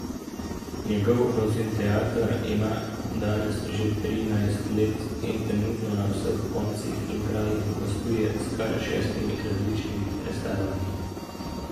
Njegov Rozinteater ima danes že trinajst let in trenutno na vseh koncih in krajih gostuje s kar šestimi različnimi predstavami.